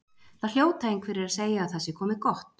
Það hljóta einhverjir að segja að það sé komið gott.